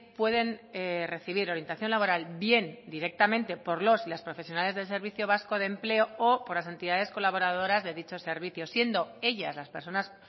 pueden recibir orientación laboral bien directamente por los y las profesionales del servicio vasco de empleo o por las entidades colaboradoras de dicho servicio siendo ellas las personas